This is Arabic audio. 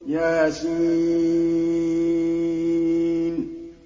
يس